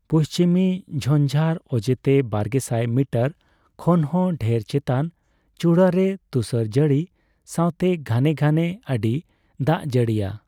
ᱯᱩᱪᱷᱤᱢᱤ ᱡᱷᱧᱡᱟᱨ ᱚᱡᱮᱛᱮ ᱵᱟᱨᱜᱮᱥᱟᱭ ᱢᱤᱴᱟᱨ ᱠᱷᱚᱱᱦᱚᱸ ᱰᱷᱮᱨ ᱪᱮᱛᱟᱱ ᱪᱩᱲᱟᱹ ᱨᱮ ᱛᱩᱥᱟᱹᱨ ᱡᱟᱹᱲᱤ ᱥᱟᱣᱛᱮ ᱜᱷᱟᱱᱮ ᱜᱷᱟᱱᱮ ᱟᱹᱰᱤᱭ ᱫᱟᱜᱡᱟᱹᱲᱤᱭᱟ ᱾